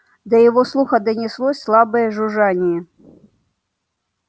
до его слуха донеслось слабое жужжание